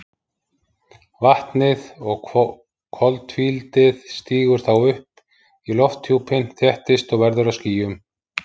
Vatnið og koltvíildið stígur þá upp í lofthjúpinn, þéttist og verður að skýjum.